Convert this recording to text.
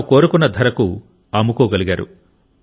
తాము కోరుకున్నధరకు వారు అమ్ముకోగలిగారు